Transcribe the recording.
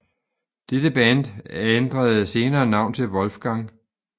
Dette band ændrede senere navn til Wolfgang